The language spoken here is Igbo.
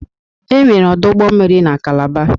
Enwere ọdụ ụgbọ mmiri n'Kalaba.